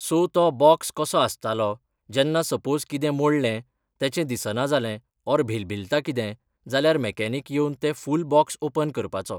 so तो box कसो आसतालो जेन्ना सपोज कितें मोडले तेचें दिसना जालें ऑर भिलभिलता कितें जाल्यार मॅकॅनीक येवन तें फूल बोक्स ओपन करपाचो